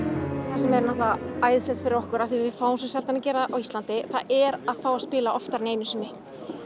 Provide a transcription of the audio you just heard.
það sem er æðislegt fyrir okkur og við fáum svo sjaldan að gera á Íslandi er að fá að spila oftar en einu sinni